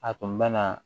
A tun bɛ na